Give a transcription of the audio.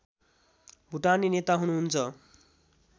भुटानी नेता हुनुहुन्छ